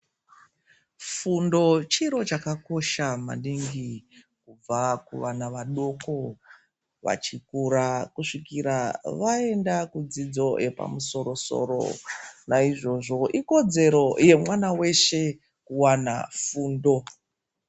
Fundo chiro chakakosha maningi kubva kuvana vadoko vachikura kusvika vaenda kudzidzo yepamusoro-soro. Naizvozvo ikodzero yemwana veshe kuwana fundo.